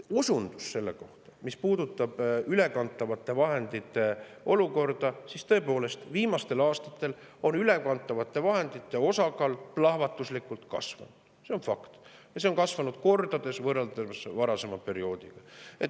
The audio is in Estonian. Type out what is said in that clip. Osundus selle kohta, mis puudutab ülekantavate vahendite olukorda: tõepoolest, viimastel aastatel on ülekantavate vahendite osakaal plahvatuslikult kasvanud, see on fakt, ja see on kasvanud kordades võrreldes varasema perioodiga.